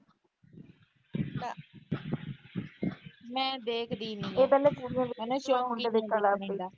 ਮੈਂ ਦੇਖਦੀ ਨੀ।